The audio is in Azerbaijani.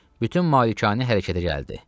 Bütün malikanə hərəkətə gəldi.